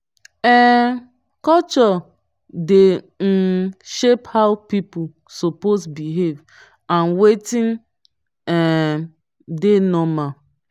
um culture dey um shape how pipo suppose behave and wetin um dey normal